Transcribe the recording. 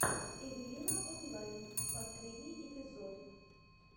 эвелина онлайн последний эпизод